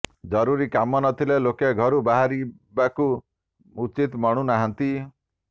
ଜରୁରୀ କାମ ନଥିଲେ ଲୋକେ ଘରୁ ବାହାରିିବାକୁ ଉଚିତ ମଣୁ ନାହଁାନ୍ତି